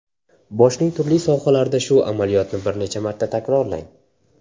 Boshning turli sohalarida shu amaliyotni bir necha marta takrorlang.